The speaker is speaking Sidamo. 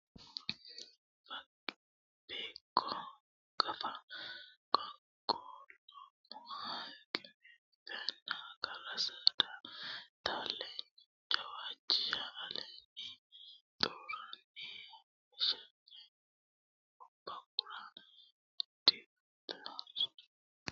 Beeqqo gafa qaaqquulle hanqafanna agara saada Taalleenya Jawaachisha allaala xuuranna shafa obba gura dikko ha ra uduunne hayishshanna w k l barru fooliishsho aannokki meyateloosi beeqqooti Wole widoonni dagoomu labballu looso.